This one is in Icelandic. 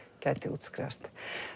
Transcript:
gæti útskrifast